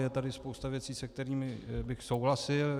Je tady spousta věcí, se kterými bych souhlasil.